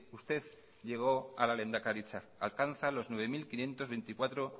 usted llegó a la lehendakaritza alcanza los nueve mil quinientos veinticuatro